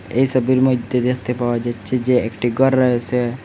এই ছবির মইদ্যে দেকতে পাওয়া যাচ্চে যে একটি গর রয়েসে।